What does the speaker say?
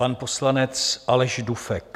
Pan poslanec Aleš Dufek.